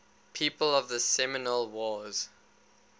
people of the seminole wars